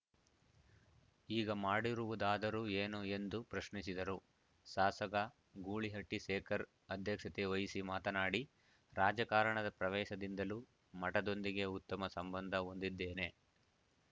ಈಗ ಮಾಡಿರುವುದಾದರೂ ಏನು ಎಂದು ಪ್ರಶ್ನಿಸಿದರು ಶಾಸಕ ಗೂಳಿಹಟ್ಟಿಶೇಖರ್‌ ಅಧ್ಯಕ್ಷತೆ ವಹಿಸಿ ಮಾತನಾಡಿ ರಾಜಕಾರಣದ ಪ್ರವೇಶದಿಂದಲೂ ಮಠದೊಂದಿಗೆ ಉತ್ತಮ ಸಂಬಂದ ಹೊಂದಿದ್ದೇನೆ